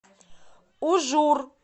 ужур